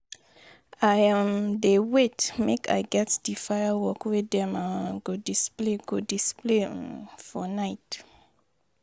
I um dey wait make I get di firework wey dem um go display go display um for night.